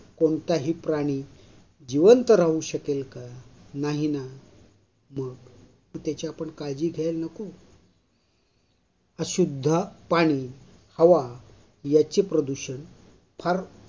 कोणताही प्राणी जीवंत राहू शकेल का? नाही ना? मग? त्याची आपण काळजी घ्याल नको? अशुद्ध पाणी, हवा याचे प्रदूषण फार